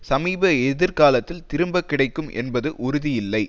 சமீப எதிர்காலத்தில் திரும்ப கிடைக்கும் என்பது உறுதியில்லை